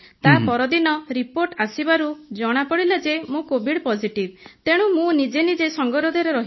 ତାପରଦିନ ରିପୋର୍ଟ ଆସିବାରୁ ଜଣାପଡ଼ିଲା ଯେ ମୁଁ କୋଭିଡ୍ ପଜିଟିଭ ତେଣୁ ମୁଁ ନିଜେ ନିଜେ ସଂଗରୋଧରେ ରହିଲି